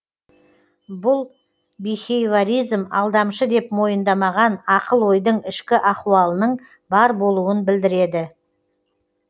бұл бихейворизм алдамшы деп мойындамаған ақыл ойдың ішкі ахуалының бар болуын білдіреді